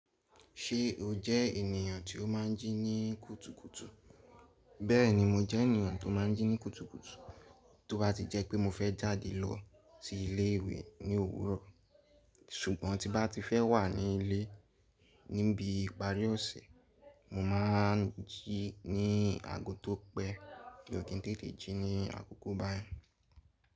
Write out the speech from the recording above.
Ṣé o jẹ́ ènìyàn tí ó má n jí ní kùtùkùtù? Bẹ́ẹ̀ni mo jẹ́ ènìyàn tó má n jí ní kùtùkùtù, tó bá ti jẹ́ pé mo fẹ́ jáde lọ sí ilé ìwé ní òwúrọ̀, ṣùgbọ́n tí bá ti fẹ́ wà ní ilé níbi ìparí ọ̀sẹ̀, mo má n jí ní aago tó pẹ́, mio kìn tete jí ní àkókò báyẹń.